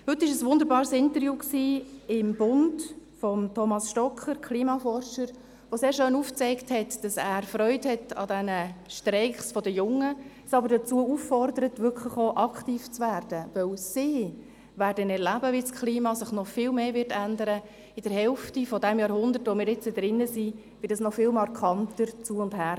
Heute war im «Bund» ein wunderbares Interview mit Thomas Stocker, Klimaforscher, der sehr schön aufzeigt, dass er Freude an den Streiks der Jungen hat, uns aber dazu auffordert, wirklich auch aktiv zu werden, weil sie erleben werden, wie sich das Klima in der Hälfte dieses Jahrhunderts, in dem wir nun drin sind, noch viel mehr ändern und es noch viel markanter zu- und hergehen wird.